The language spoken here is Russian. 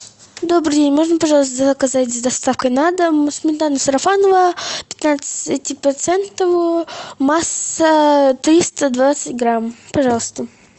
добрый день можно пожалуйста заказать с доставкой на дом сметану сарафаново пятнадцатипроцентовую масса триста двадцать грамм пожалуйста